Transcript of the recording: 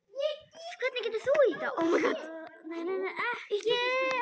Það var alveg á hreinu!